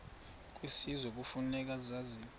kwisizwe kufuneka zabiwe